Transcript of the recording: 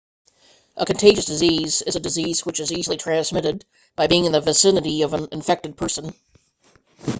a contagious disease is a disease which is easily transmitted by being in the vicinity of an infected person